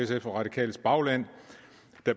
de radikales bagland